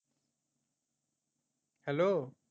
Hello